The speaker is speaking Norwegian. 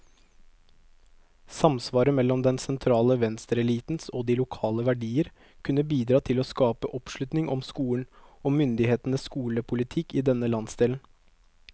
Samsvaret mellom den sentrale venstreelitens og de lokale verdier kunne bidra til å skape oppslutning om skolen, og myndighetenes skolepolitikk i denne landsdelen.